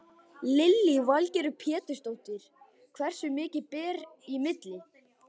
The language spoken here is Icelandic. Lillý Valgerður Pétursdóttir: Hversu mikið ber í milli?